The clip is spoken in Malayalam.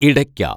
ഇടയ്ക്ക